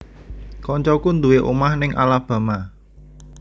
Koncoku nduwe omah ning Alabama